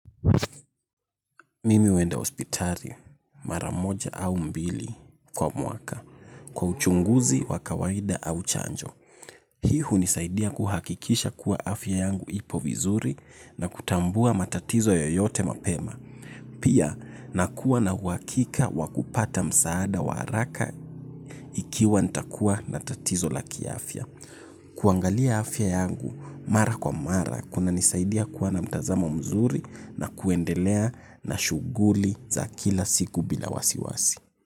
Mimi huenda hospitari mara moja au mbili kwa mwaka, kwa uchunguzi wakawaida au chanjo. Hii hunisaidia kuhakikisha kuwa afya yangu ipo vizuri na kutambua matatizo yoyote mapema. Pia nakuwa na uhakika wakupata msaada waraka ikiwa ntakuwa na tatizo la kiafya. Kuangalia afya yangu mara kwa mara kuna nisaidia kuwa na mtazamo mzuri na kuendelea na shuguli za kila siku bila wasiwasi.